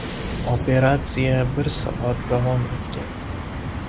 Operatsiya bir soat davom etgan.